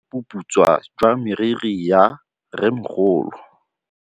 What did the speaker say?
Ke bone boputswa jwa meriri ya rrêmogolo.